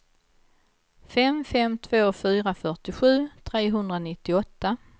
fem fem två fyra fyrtiosju trehundranittioåtta